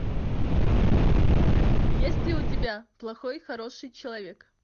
есть ли у тебя плохой хороший человек